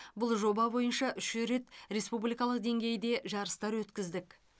бұл жоба бойынша үш рет республикалық деңгейде жарыстар өткіздік